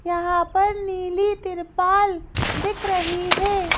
यहाँ पर नीली तिरपाल दिख रही है।